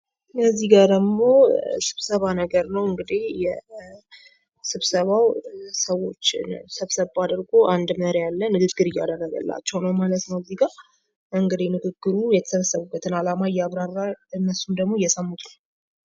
እዚህ ጋ ደግሞ ስብሰባ ነገር ነው እንግዲህ ስብሰባው ሰዎች ሰብሰብ አድርጎ አንድ መሪ አለ። ንግግር እያደረገላቸው ነው ማለት ነው እዚህጋ እንግዲህ ንግግሩ የተሰበሰቡትበትን አላማ እያብራራ እነሱም ደግሞ እየሰሙ ነው።